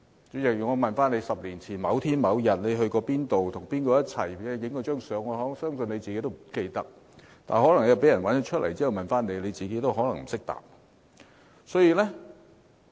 主席，我問你10年前某天你去過哪裏，跟誰在一起拍過一張照片，我相信你自己也不記得，但可能有人找出照片，然後問你，你自己可能不懂得回答。